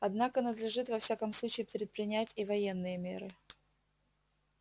однако надлежит во всяком случае предпринять и военные меры